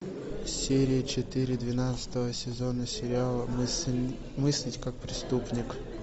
серия четыре двенадцатого сезона сериала мыслить как преступник